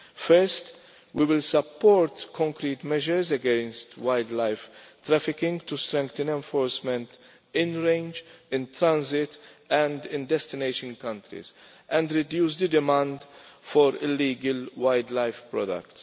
First, we will support concrete measures against wildlife trafficking to strengthen enforcement in terms of range, in transit and in destination countries, and to reduce demand for illegal wildlife products.